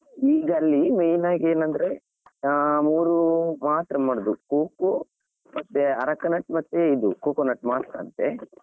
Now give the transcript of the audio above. ಈಗ ಅಲ್ಲಿ main ಆಗಿ ಏನಂದ್ರೆ ಆ ಮೂರು ಮಾತ್ರ ಮಾಡುದು coco ಮತ್ತೆ aracanut ಮತ್ತೆ ಇದು coconut ಮಾತ್ರ ಅಂತೆ.